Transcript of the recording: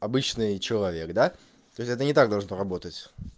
обычный человек да то есть это не так должно работать